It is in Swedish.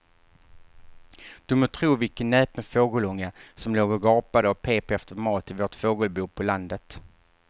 Du må tro vilken näpen fågelunge som låg och gapade och pep efter mat i vårt fågelbo på landet.